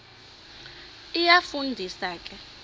iyafu ndisa ke